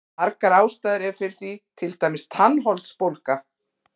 Margar ástæður eru fyrir því, til dæmis tannholdsbólga.